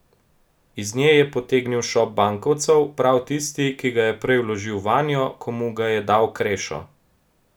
Iz nje je potegnil šop bankovcev, prav tisti, ki ga je prej vložil vanjo, ko mu ga je dal Krešo.